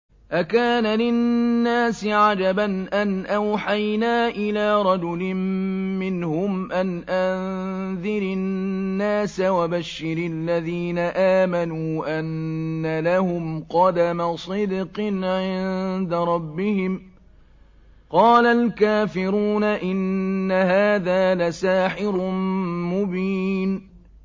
أَكَانَ لِلنَّاسِ عَجَبًا أَنْ أَوْحَيْنَا إِلَىٰ رَجُلٍ مِّنْهُمْ أَنْ أَنذِرِ النَّاسَ وَبَشِّرِ الَّذِينَ آمَنُوا أَنَّ لَهُمْ قَدَمَ صِدْقٍ عِندَ رَبِّهِمْ ۗ قَالَ الْكَافِرُونَ إِنَّ هَٰذَا لَسَاحِرٌ مُّبِينٌ